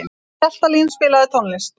Hjaltalín, spilaðu tónlist.